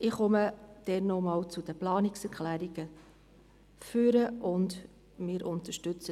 Ich komme dann noch einmal zu den Planungserklärungen ans Rednerpult.